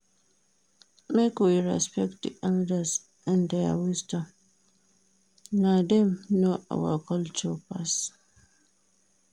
Make we respect di elders and their wisdom, na dem know our culture pass.